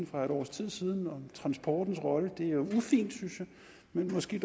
for et års tid siden om transportens rolle det er ufint synes jeg men måske